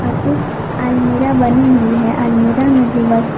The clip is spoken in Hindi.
और एक अलमीरा बनी हुई है अलमीरा में भी बस--